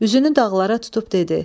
Üzünü dağlara tutub dedi: